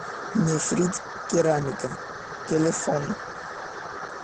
нефрит керамика телефон